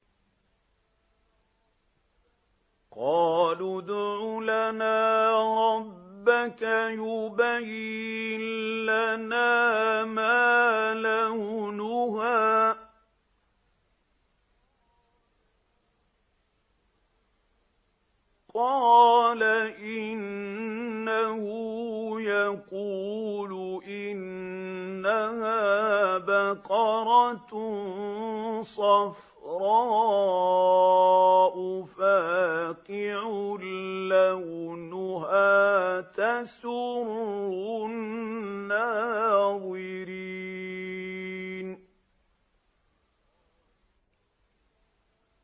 قَالُوا ادْعُ لَنَا رَبَّكَ يُبَيِّن لَّنَا مَا لَوْنُهَا ۚ قَالَ إِنَّهُ يَقُولُ إِنَّهَا بَقَرَةٌ صَفْرَاءُ فَاقِعٌ لَّوْنُهَا تَسُرُّ النَّاظِرِينَ